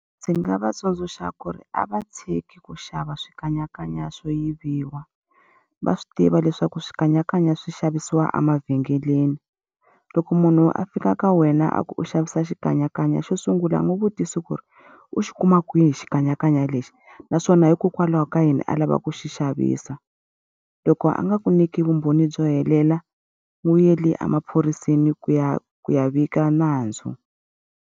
Ndzi nga va tsundzuxa ku ri a va tshiki ku xava swikanyakanya swo yiviwa, va swi tiva leswaku swikanyakanya swi xavisiwa a mavhengeleni. Loko munhu a fika ka wena a ku u xavisa xikanyakanya xo sungula ngopfu u vutisa ku ri u xi kuma kwihi xikanyakanya lexi, naswona hikokwalaho ka yini a lava ku xi xavisa. Loko a nga ku nyiki vumbhoni byo helela, n'wi yele emaphoriseni ku ya ku ya vika nandzu.